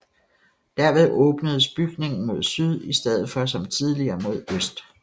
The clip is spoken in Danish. Derved åbnedes bygningen mod syd i stedet for som tidligere mod øst